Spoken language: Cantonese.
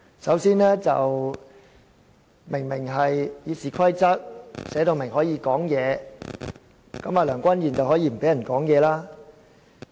首先，《議事規則》清楚訂明議員可以發言，梁君彥議員卻可以不讓議員發言。